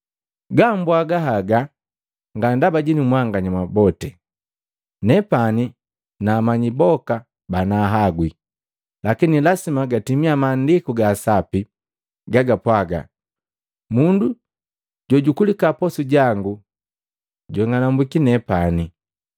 “Gambwaga haga nga ndaba jinu mwanganya mwabote. Nepani naamanyi boka banaahagwi. Lakini lasima gatimia Maandiku gaa Sapi gagapwaga, ‘Mundu jojukulika posu jangu jung'anambwiki nepani.’